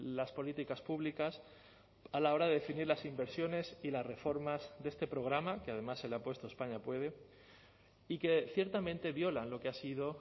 las políticas públicas a la hora de definir las inversiones y las reformas de este programa que además se le ha puesto españa puede y que ciertamente violan lo que ha sido